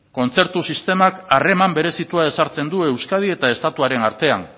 kontzertu sistemak harreman berezitua ezartzen du euskadi eta estatuaren artean